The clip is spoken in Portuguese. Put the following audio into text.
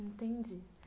Entendi.